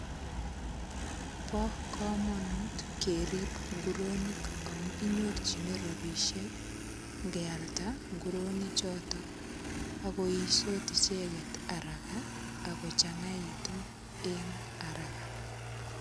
Bo kamanut kerip ngoronik amu kinyorchini ropisiek ngealda nguronichoto ak koisot icheget araka ak kochangaitu eng araka.